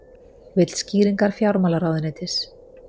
Vill skýringar fjármálaráðuneytis